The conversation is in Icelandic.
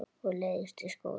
Og leiðist í skóla.